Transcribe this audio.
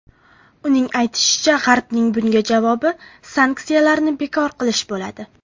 Uning aytishicha, G‘arbning bunga javobi sanksiyalarni bekor qilish bo‘ladi.